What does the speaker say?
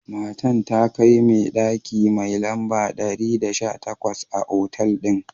Matan ta kai me daki mai lamba dari da sha takwas a otal din.